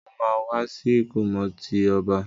Mo ma wa si ìkómọ ti ọba.